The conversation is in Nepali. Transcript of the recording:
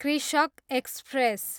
कृषक एक्सप्रेस